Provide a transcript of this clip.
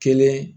Kelen